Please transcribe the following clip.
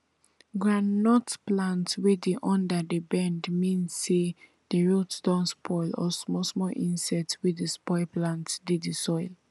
groundnut plant wey di under dey bend mean say di root don spoil or small small insect wey dey spoil plant dey di soil